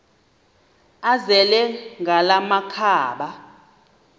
azele ngala makhaba